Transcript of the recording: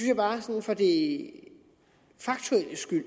jeg bare sådan for det faktuelles skyld